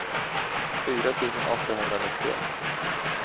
fyra tusen åttahundranittioett